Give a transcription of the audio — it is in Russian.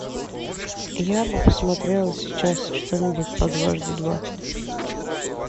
я бы посмотрела сейчас что нибудь по дважды два